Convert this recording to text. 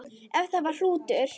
Ef það var hrútur.